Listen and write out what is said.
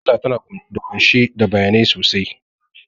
Mujalla tana ƙunshe da bayanai sosai